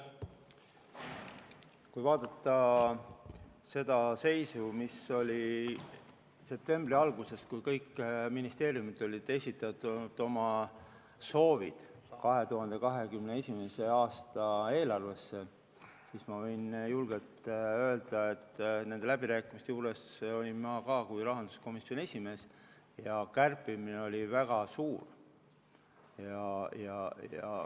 Kui vaadata seda seisu, mis oli septembri alguses, kui kõik ministeeriumid olid esitanud oma soovid 2021. aasta eelarvesse, siis ma võin julgelt öelda, et nende läbirääkimiste juures olin ma ka kui rahanduskomisjoni esimees ja me kärpisime väga palju.